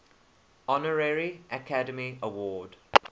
honorary academy award